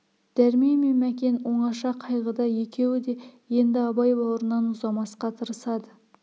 дәрмен мен мәкен оңаша қайғыда екеуі де енді абай бауырынан ұзамасқа тырысады